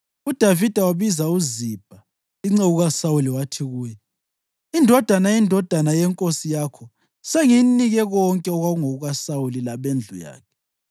UDavida wabiza uZibha, inceku kaSawuli, wathi kuye, “Indodana yendodana yenkosi yakho sengiyinike konke okwakungokuka Sawuli labendlu yakhe.